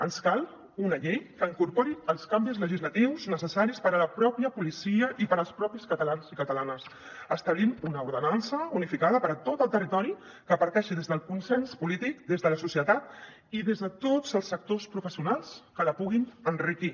ens cal una llei que incorpori els canvis legislatius necessaris per a la mateixa policia i per als mateixos catalans i catalanes establint una ordenança unificada per a tot el territori que parteixi des del consens polític des de la societat i des de tots els sectors professionals que la puguin enriquir